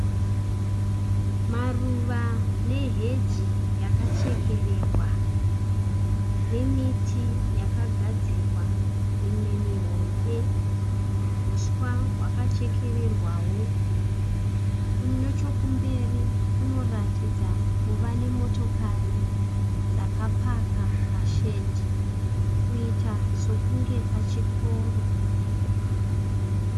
Maruva neheji yachekererwa nemiti yakagadzirwa, mimwe mihombe. Huswa hwakachekererwawo. Nechekumberi kunoratidza kuva nemotokari dzakapaka pashedhi kuita sokunge pachikoro.